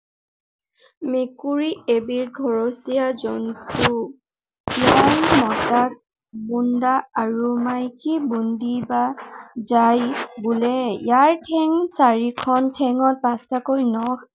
মেকুৰী এবিধ ঘৰচীয়া জন্তু। ইয়াৰ মতাক বোন্দা আৰু মাইকীক বোন্দী বা জাঁই বোলে। ইয়াৰ ঠেং চাৰিখন ঠেঙত পাঁচটাকৈ নখ